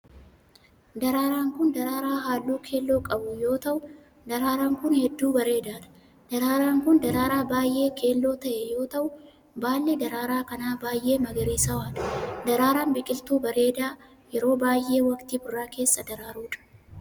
Daraaraan kun, daraaraa halluu keelloo qabu yoo ta'u, daraaraan kun hedduu bareedaa dha. Daraaraan kun, daraaraa baay'ee keelloo ta'e yoo ta'u, baalli daraaraa kanaa baay'ee magariisawaa dha. Daraaraan biqiltuu bareedaa yeroo baay'ee waqtii birraa keessa daraaruu dha.